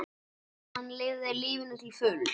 Hann lifði lífinu til fulls.